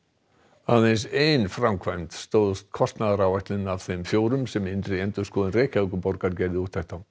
aðeins ein framkvæmd stóðst kostnaðaráætlun af þeim fjórum sem innri endurskoðun Reykjavíkurborgar gerði úttekt á